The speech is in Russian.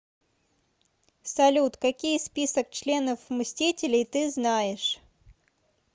салют какие список членов мстителей ты знаешь